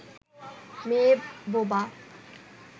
মেয়ে বোবা